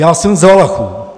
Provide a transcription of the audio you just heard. Já jsem z Valachů.